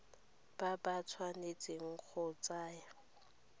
ba ba tshwanetseng go tsaya